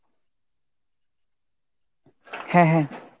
হ্যাঁ হ্যাঁ।